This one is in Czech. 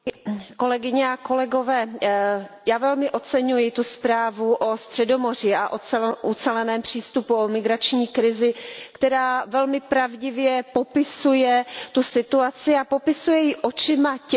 Já velmi oceňuji zprávu o Středomoří a o uceleném přístupu, o migrační krizi, která velmi pravdivě popisuje tu situaci a popisuje ji očima těch, kteří v těchto zemích žijí.